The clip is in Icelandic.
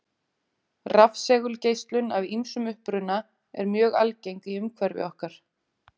Rafsegulgeislun af ýmsum uppruna er mjög algeng í umhverfi okkar.